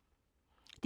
DR K